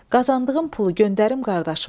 Qazandığım pulu göndərim qardaşıma.